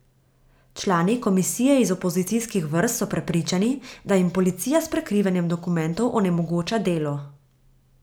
Člani komisije iz opozicijskih vrst so prepričani, da jim policija s prikrivanjem dokumentov onemogoča delo.